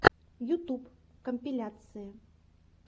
ютуб компиляции